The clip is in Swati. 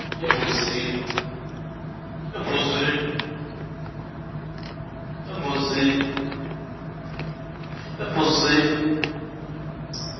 embuzini